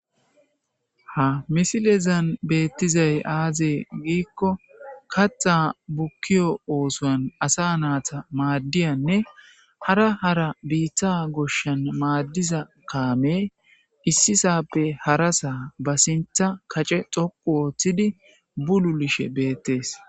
Ha misilezan beetizay aaze giiko kaththa bukkiyo oothuwan asa nayta maadiyanne hara hara biita goshshan maadiza kaamey issi saape harasa ba kacce dhoqqu histidi bululishe beetees.